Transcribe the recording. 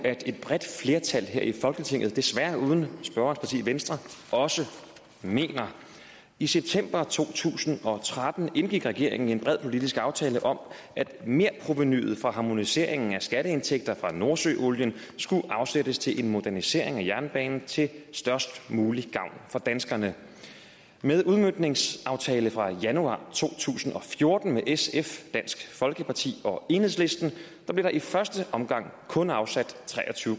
at et bredt flertal her i folketinget desværre uden spørgerens parti venstre også mener i september to tusind og tretten indgik regeringen en bred politisk aftale om at merprovenuet fra harmoniseringen af skatteindtægter fra nordsøolien skulle afsættes til en modernisering af jernbanen til størst mulig gavn for danskerne med udmøntningsaftale fra januar to tusind og fjorten med sf dansk folkeparti og enhedslisten blev der i første omgang kun afsat tre og tyve